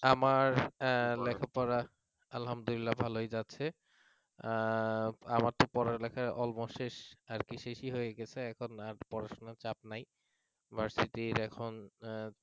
আমার লেখাপড়া আলহামদুলিল্লাহ ভালই যাচ্ছে আহ আমার তো পড়ালেখা akmost শেষ আর কি শেষই হয়ে গেছে আর কি এখন আর পড়াশোনা চাপ নাই versity